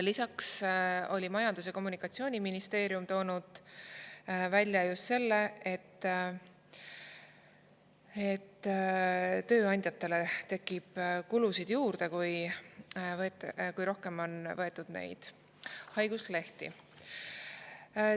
Lisaks oli Majandus‑ ja Kommunikatsiooniministeerium toonud välja just selle, et tööandjatele tekib kulusid juurde, kui võetakse rohkem haiguslehti.